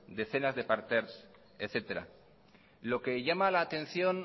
decenas de parterres etcétera lo que llama la atención